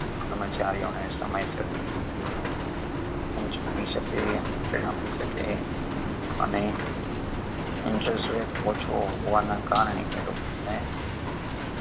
કર્મચારીઓ ને સમયસર શકે એમને શકે અને interest rate ઓછો હોવાના કારણે એ લોકો ને